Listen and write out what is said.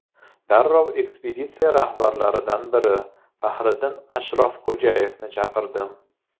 Darrov ekspeditsiya rahbarlaridan biri Faxriddin Ashrafxo‘jayevni chaqirdim.